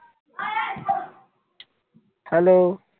hello